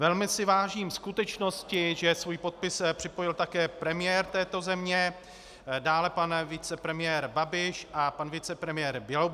Velmi si vážím skutečnosti, že svůj podpis připojil také premiér této země, dále pan vicepremiér Babiš a pan vicepremiér Bělobrádek.